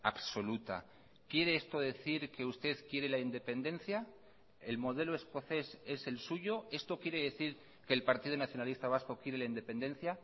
absoluta quiere esto decir que usted quiere la independencia el modelo escocés es el suyo esto quiere decir que el partido nacionalista vasco quiere la independencia